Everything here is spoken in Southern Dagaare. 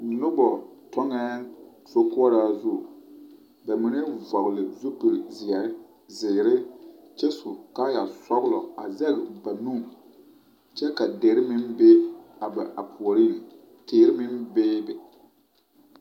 Noba kyoŋɛɛ sokoraa zu bamine vɔgle zupili zeɛ ziire kyɛ su kaayaa sɔglɔ a zaŋ ba nu kyɛ ka dire meŋ be ba puoriŋ teere meŋ bebe.